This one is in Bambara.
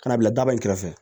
Ka na bila daba in kɛrɛfɛ